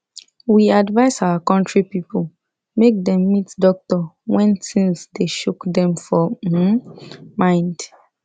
we advise our country people make dem meet doctor when thins dey choke dem for um mind